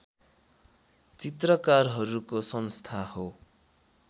चित्रकारहरूको संस्था हो